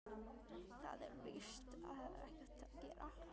Það er víst ekkert við því að gera.